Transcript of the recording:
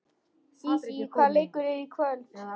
Sísí, hvaða leikir eru í kvöld?